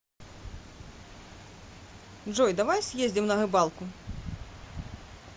джой давай съездим на рыбалку